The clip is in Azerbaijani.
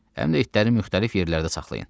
Həm də itləri müxtəlif yerlərdə saxlayın.